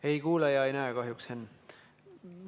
Ei kuule ja ei näe kahjuks, Henn.